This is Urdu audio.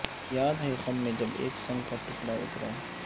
یاد ہے خم میں جب ایک سنگ کا ٹکڑا اترا